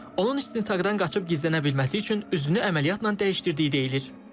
Onun istintaqdan qaçıb gizlənə bilməsi üçün üzünü əməliyyatla dəyişdirdiyi deyilir.